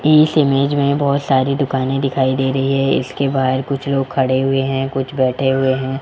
इस इमेज में बहुत सारी दुकानें दिखाई दे रही है इसके बाहर कुछ लोग खड़े हुए हैं कुछ बैठे हुए हैं।